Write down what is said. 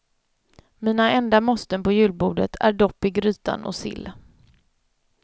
Mina enda måsten på julbordet är dopp i grytan och sill.